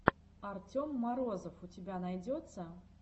артем морозов у тебя найдется